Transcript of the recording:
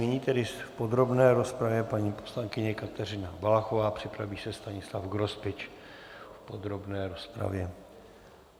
Nyní tedy v podrobné rozpravě paní poslankyně Kateřina Valachová, připraví se Stanislav Grospič v podrobné rozpravě.